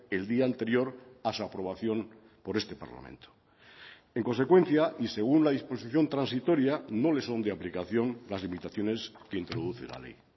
el día anterior a su aprobación por este parlamento en consecuencia y según la disposición transitoria no le son de aplicación las limitaciones que introduce la ley